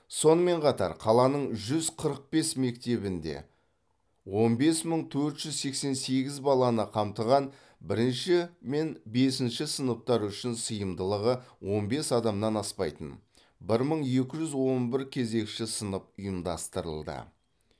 сонымен қатар қаланың жүз қырық бес мектебінде он бес мың төрт жүз сексен сегіз баланы қамтыған бірінші мен бесінші сыныптар үшін сыйымдылығы он бес адамнан аспайтын бір мың екі жүз он бір кезекші сынып ұйымдастырылды